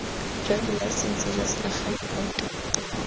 jwa dilaesense jwa selegae boto